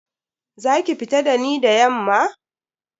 Za ki fita da ni da yamma?